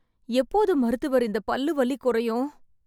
எப்போது மருத்துவர் இந்தப் பல்லு வலிக் குறையும்